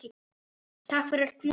Takk fyrir öll knúsin.